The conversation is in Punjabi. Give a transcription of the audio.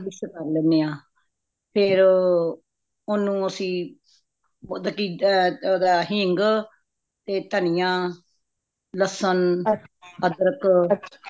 ਫੇਰ ਓਹਨੂੰ mix ਕਰਲੇਨੇ ਹਾ ਫੇਰ ਓਹਨੂੰ ਅੱਸੀ ਓਹਦਾ ਹਿੰਗ ,ਤੇ ਦਾਣਿਆਂ ,ਲੱਸਣ ,ਅਦ੍ਰਖ